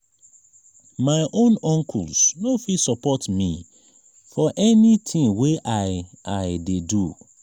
my own uncles no fit support me for anytin wey i i dey do.